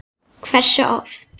Hversu oft?